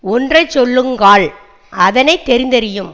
ஒன்றை சொல்லுங்கால் அதனை தெரிந்தறியும்